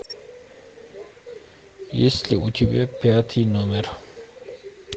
есть ли у тебя пятый номер